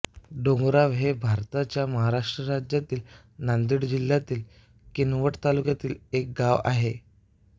डोंगरगाव हे भारताच्या महाराष्ट्र राज्यातील नांदेड जिल्ह्यातील किनवट तालुक्यातील एक गाव आहे